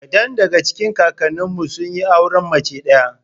Kadan daga cikin kakanninmu sun yi auren mace ɗaya.